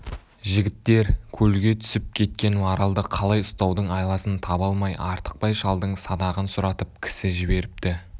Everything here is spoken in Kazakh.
жігіттер көлге түсіп кеткен маралды қалай ұстаудың айласын таба алмай артықбай шалдың садағын сұратып кісі жіберіпті